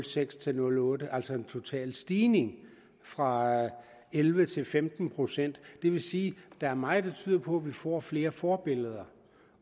seks til nul otte altså en total stigning fra elleve til femten procent det vil sige at der er meget der tyder på at vi får flere forbilleder